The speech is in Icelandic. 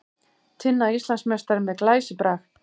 Tinna Íslandsmeistari með glæsibrag